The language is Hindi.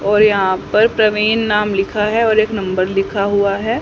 और यहां पर प्रवीन नाम लिखा है और एक नम्बर लिखा हुआ है।